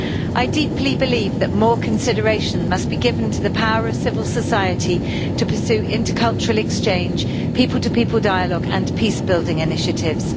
I deeply believe that more consideration must be given to the power of civil society to pursue intercultural exchange, people to people dialogue and peace-building initiatives.